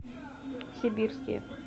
сибирские